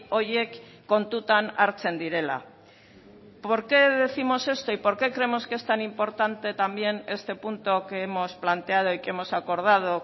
horiek kontutan hartzen direla por qué décimos esto y por qué creemos que es tan importante también este punto que hemos planteado y que hemos acordado